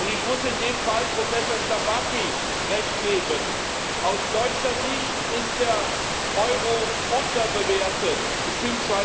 Ich muss in dem Fall Professor Starbatty Recht geben Aus deutscher Sicht ist der Euro unterbewertet bzw.